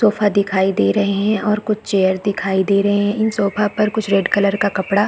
sofa दिखाई दे रहै है और कुछ चेयर दिखाई दे रहै है इन सोफा पर कुछ रेड कलर का कपड़ा--